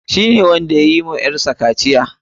Shi ne wanda yayi wa ƴar sa kaciya.